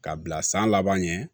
K'a bila san laban ɲɛ